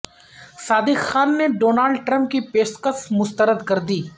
صادق خان نے Donald Trump کی پیشکش مسترد کر دی